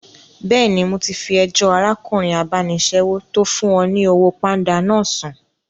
Bẹ́ẹ̀ni, mo ti fi ẹjọ́ arákùnrin abánisẹ́wò tó fún ọ ní owó pánda náà sùn